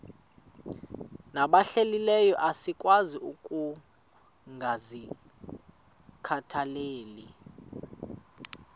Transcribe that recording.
nabahlehliyo asikwazi ukungazikhathaieli